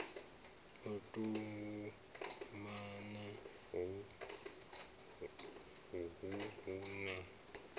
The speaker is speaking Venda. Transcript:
u tumana uhu hu na